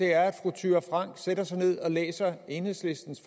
er at fru thyra frank sætter sig ned og læser enhedslistens